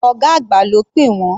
Ọ̀gá àgbà ló pè wọ́n.